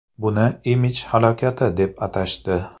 Buni imij halokati deb atashdi.